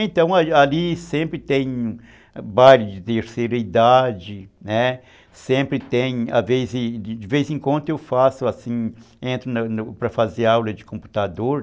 Então, ali ali sempre tem baile de terceira idade, né, sempre tem, às vezes, de vez em quando eu entro para fazer aula de computador.